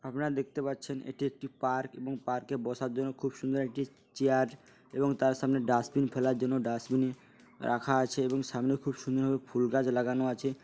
আপনারা দেখতে পাচ্ছেন এটি একটি পার্ক এবং পার্কে বসার জন্য খুব সুন্দর একটা চেয়ার এবং তার সামনে ডাস্টবিন ফেলার জন্য ডাস্টবিনে রাখা আছে এবং সামনে খুব সুন্দর ভাবে ফুল গাছ লাগানো আছে।